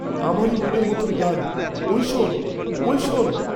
আমারি মনের মত গান, ঐ শোন ঐ শোন!